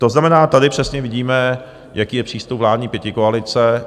To znamená, tady přesně vidíme, jaký je přístup vládní pětikoalice.